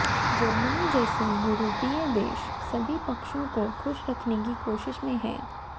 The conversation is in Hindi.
जर्मनी जैसे यूरोपीय देश सभी पक्षों को ख़ुश रखने की कोशिश में हैं